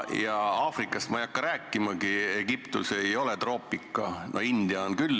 Aafrikast ei hakka ma rääkimagi, Egiptus ei ole troopika, India on küll.